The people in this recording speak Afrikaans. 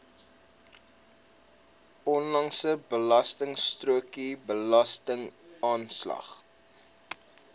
onlangse betaalstrokie belastingaanslag